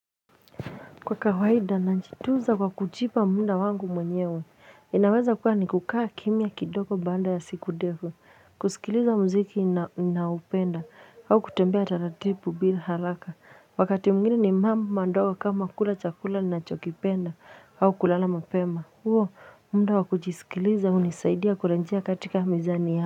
Kwa kawaida najituza kwa kuchipa munda wangu mwenyewe inaweza kuwa ni kukaa kimya kidoko banda ya siku devu kusikiliza muziki na upenda au kutembea taratipu bila haraka wakati mgini ni mamu mandoko kama kula chakula na chokipenda au kulala mapema huo muda wakuchisikiliza unisaidia kurenjia katika mizani ya.